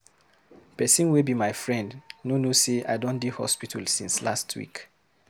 Pesin wey be my friend no know sey I don dey hospital since last week.